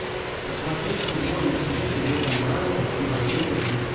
посмотреть футбольную встречу между брайтон и манчестер сити